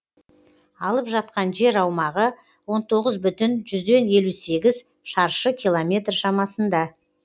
алып жатқан жер аумағы он тоғыз бүтін жүзден елу сегіз шаршы километр шамасында